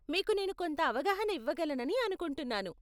మీకు నేను కొంత ఆవగాహన ఇవ్వగలనని అనుకుంటున్నాను .